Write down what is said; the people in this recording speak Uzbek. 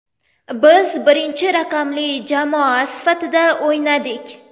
Biz birinchi raqamli jamoa sifatida o‘ynadik.